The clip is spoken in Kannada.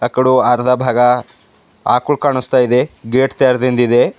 ಆಕಡು ಅರ್ಧ ಭಾಗ ಅಕ್ಲು ಕಾಣುಸ್ತಾ ಇದೆ ಗೇಟ್ ತೆರೆದಿಂದಿದೆ.